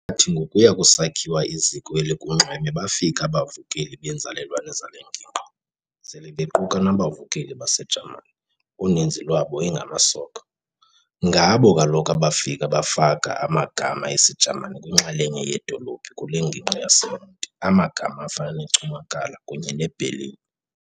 Kwathi ngokuya kusakhiwa iziko elikunxweme bafika abavukeli beenzalelwane zale ngingqi, sele bequka nabavukeli baseJamani, uninzi lwabo ingamasoka. ngabo kaloku abafika bafaka amagama esiJamani kwinxalenye yeedolophu kule ngingqi yaseMonti amagama afana neCumakala kunye neBerlin.